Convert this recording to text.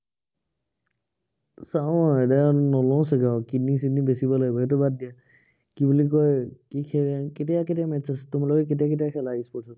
চাও আৰু এতিয়া, নলও চাগে আৰু, kidney চিডনী বেছিব লাগিব, সেইটো বাদ দিয়া কি বুলি কয়, কি খেল, কেতিয়া কেতিয়া match আছে, তোমালোকে কেতিয়া কেতিয়া খেলা e sports ত